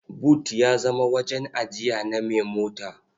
But ya zama wajen ajiya na mai mota.